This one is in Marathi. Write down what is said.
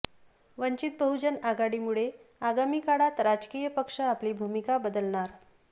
वंचित बहुजन आघाडीमुळे आगामी काळात राजकीय पक्ष आपली भूमिका बदलणार